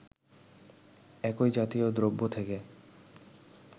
একই জাতীয় দ্রব্য থেকে